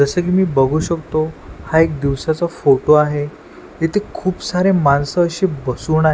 जसं की मी बघू शकतो हा एक दिवसाचा फोटो आहे इथे खूप सारे माणसं अशी बसून आहे.